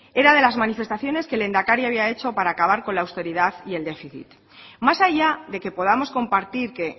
era de las manifestaciones que el lehendakari había hecho para acabar con la austeridad y el déficit más allá de que podamos compartir que